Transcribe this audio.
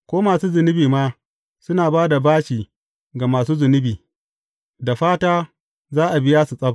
Ko masu zunubi ma, suna ba da bashi ga masu zunubi, da fata za a biya su tsab.